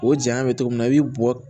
O jaɲa bɛ cogo min na i bi bɔ